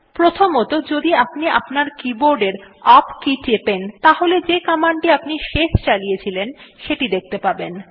প্রথমতঃ যদি আপনি আপনার কীবোর্ডের ইউপি কে টেপেন তাহলে যে কমান্ডটি আপনি শেষ চালিয়েছিলেন সেটি দেখতে পাবেন